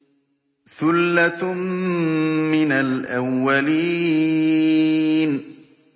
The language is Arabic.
ثُلَّةٌ مِّنَ الْأَوَّلِينَ